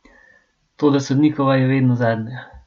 Toda sodnikova je vedno zadnja!